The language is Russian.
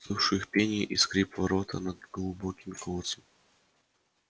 слышу их пение и скрип ворота над глубоким колодцем